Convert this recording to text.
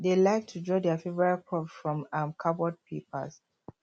dem like to draw their favourite crops for um cardboard paper